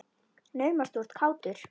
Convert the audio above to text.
Naumast þú ert kátur.